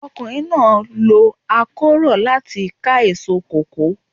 Ọkùnrin náà lo akórọ́ láti ká èso kòkó.